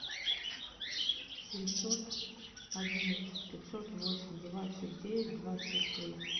семьсот одиннадцать пятьсот восемь двадцать девять двадцать три